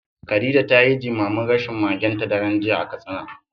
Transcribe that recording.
Khadija ta yi jimamin rashin magenta daren jiya a Katsina.